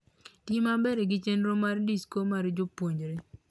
Ti maber gi chenro mar disko mar jopuonjre.